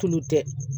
Tulu tɛ